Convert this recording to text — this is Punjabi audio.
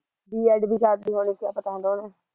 B. Ed ਵੀ ਕਰਲੀ ਹੋਣੀ ਕਿਆ ਪਤਾ ਹੁੰਦਾ ਉਹਦੇ